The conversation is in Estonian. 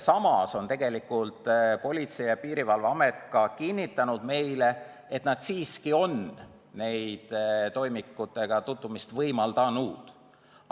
Samas on Politsei- ja Piirivalveamet tegelikult meile ka kinnitanud, et nad siiski on toimikutega tutvumist võimaldanud.